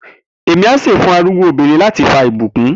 Emi a se fun arugbo obinrin lati fa ibukun